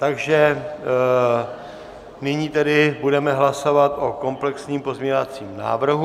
Takže nyní tedy budeme hlasovat o komplexním pozměňovacím návrhu.